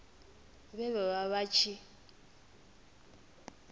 vhe vha vha vha tshi